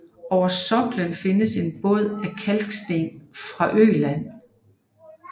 Over soklen findes et bånd af kalksten fra Øland